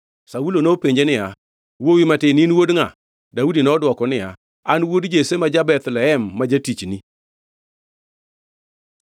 Saulo nopenje niya, “Wuowi matin in wuod ngʼa?” Daudi nodwoko niya, “An wuod Jesse ma ja-Bethlehem ma jatichni.”